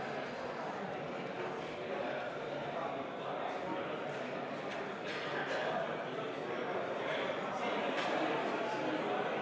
Kalvi Kõva, palun protseduuriline küsimus!